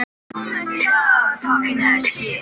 Hann sneri sér snöggt við.